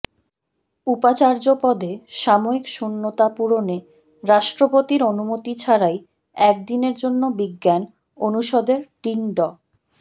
উপাচার্য পদে সাময়িক শূন্যতা পূরণে রাষ্ট্রপতির অনুমতি ছাড়াই এক দিনের জন্য বিজ্ঞান অনুষদের ডিন ড